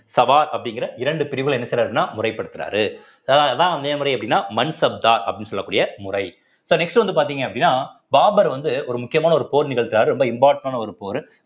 சவார் அப்படிங்கிற இரண்டு பிரிவுல என்ன செய்யறாருன்னா முறைப்படுத்துறாரு அஹ் அதான் மேமரை அப்படின்னா மன்சப்தா அப்படின்னு சொல்லக்கூடிய முறை so next வந்து பார்த்தீங்க அப்படின்னா பாபர் வந்து ஒரு முக்கியமான ஒரு போர் நிகழ்த்துறாரு ரொம்ப important ஆன ஒரு போரு